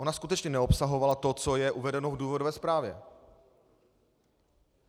Ona skutečně neobsahovala to, co je uvedeno v důvodové zprávě.